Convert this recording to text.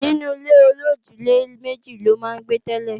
Inú ilé-olójúlé-méjì ló máa ń gbé tẹ́lẹ̀